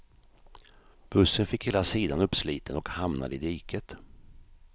Bussen fick hela sidan uppsliten och hamnade i diket.